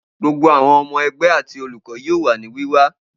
Gbogbo awọn ọmọ ẹgbẹ ti Oluko yoo wa ni wiwa.